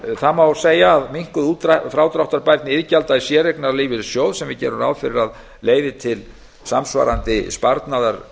það má segja að minnkuð frádráttarbærni iðgjalda í séreignarlífeyrissjóð sem við gerum ráð fyrir að leiði til samsvarandi sparnaðar